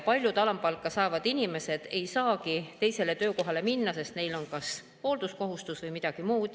Paljud alampalka saavad inimesed ei saagi teisele töökohale minna, sest neil on kas hoolduskohustus või midagi muud.